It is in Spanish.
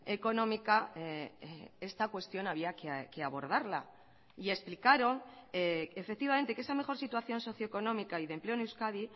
económica esta cuestión había que abordarla y explicaron efectivamente que esa mejor situación socioeconómica y de empleo en euskadi